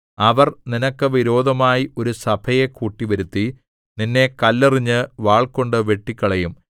അവർ നിനക്ക് വിരോധമായി ഒരു സഭയെ കൂട്ടിവരുത്തി നിന്നെ കല്ലെറിഞ്ഞ് വാൾകൊണ്ടു വെട്ടിക്കളയും